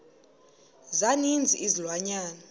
za ninzi izilwanyana